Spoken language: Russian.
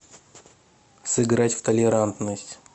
сыграть в толерантность